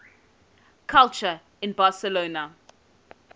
culture in barcelona